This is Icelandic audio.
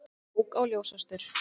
Ók á ljósastaur